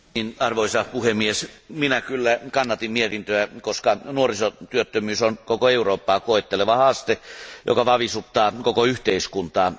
Arvoisa puhemies, minä kannatin mietintöä, koska nuorisotyöttömyys on koko Eurooppaa koetteleva haaste, joka vavisuttaa koko yhteiskuntaa.